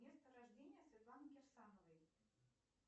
место рождения светланы кирсановой